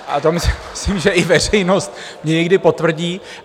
A to myslím, že i veřejnost mi někdy potvrdí.